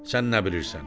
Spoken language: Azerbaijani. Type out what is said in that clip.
Sən nə bilirsən?